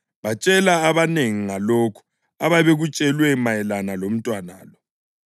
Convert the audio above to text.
Bathi sebembonile umntwana, batshela abanengi ngalokho ababekutshelwe mayelana lomntwana lo,